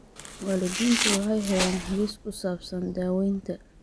Waalidiintu waxay helaan hagis ku saabsan daawaynta.